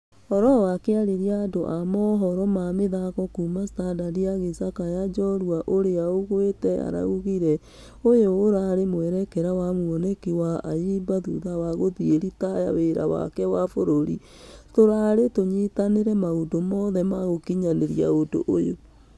Oloo akĩarĩria andũ a mohoro ma mĩthako kuuma standard agĩcakaya njorua ũrĩa ũgũĩte araugire, ũyũ ũrarĩ mwerekera na muonĩki wa ayimba thutha wa gũthiĩ ritaya wĩra wake wa bũrũri. Tũrarĩ tũnyitanĩre maũndũ wothe wa gũkinyanĩria ũndũ ũyũ.